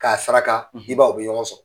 K'a saraka i b'a ye o bɛ ɲɔgɔn sɔrɔ.